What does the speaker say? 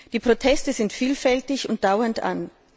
Die Proteste sind vielfältig und dauern an.